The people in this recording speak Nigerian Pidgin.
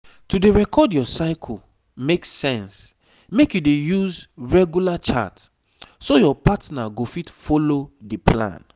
to dey record your cycle makle sense make you dey use regular chart so your partner go fit follow the plan